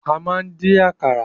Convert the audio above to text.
A máa ń dín àkàrà.